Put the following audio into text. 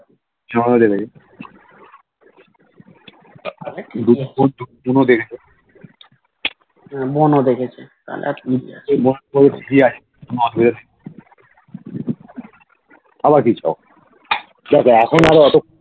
বোন ও দেখেছে তাহলে আরকি